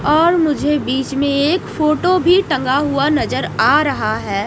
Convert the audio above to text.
और मुझे बीच में एक फोटो भी टंगा हुआ नजर आ रहा है।